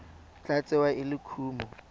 tla tsewa e le kumo